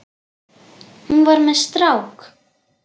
Hún var með strák!